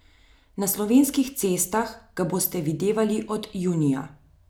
Na slovenskih cestah ga boste videvali od junija.